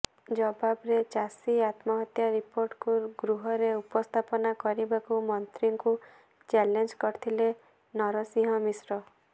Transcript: ଜବାବରେ ଚାଷୀ ଆତ୍ମହତ୍ୟା ରିପୋର୍ଟକୁ ଗୃହରେ ଉପସ୍ଥାପନ କରିବାକୁ ମନ୍ତ୍ରୀଙ୍କୁ ଚ୍ୟାଲେଞ୍ଜ କରିଥିଲେ ନରସିଂହ ମିଶ୍ର